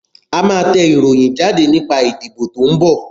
A máa tẹ ìròyìn jáde nípa ìdìbò tí ń bọ̀.